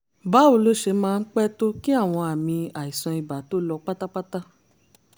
báwo ló ṣe máa ń pẹ́ tó kí àwọn àmì àìsàn ibà tó lọ pátápátá?